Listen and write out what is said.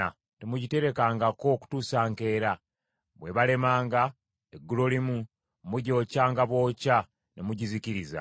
Temugiterekangako kutuusa nkeera; bw’ebalemanga eggulolimu, mugyokyanga bwokya ne mugizikiriza.